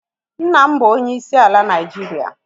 Nna m bụ onyeisi ala Naịjiria